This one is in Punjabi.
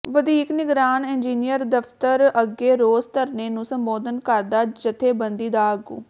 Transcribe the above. ਵਧੀਕ ਨਿਗਰਾਨ ਇੰਜਨੀਅਰ ਦਫ਼ਤਰ ਅੱਗੇ ਰੋਸ ਧਰਨੇ ਨੂੰ ਸੰਬੋਧਨ ਕਰਦਾ ਜਥੇਬੰਦੀ ਦਾ ਆਗੂ